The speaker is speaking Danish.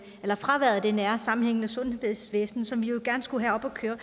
fraværet af det nære sammenhængende sundhedsvæsen som vi jo gerne skulle have op at køre